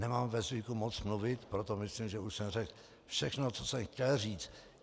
Nemám ve zvyku moc mluvit, proto myslím, že už jsem řekl všechno, co jsem chtěl říct.